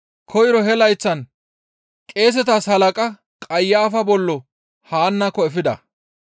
Koyro he layththan qeesetas halaqa Qayafa bollo Haannako efida.